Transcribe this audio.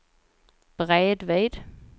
bredvid